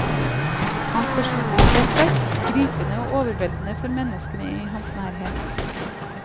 Hans personlighet er sterk, gripende og overveldende for menneskene i hans nærhet.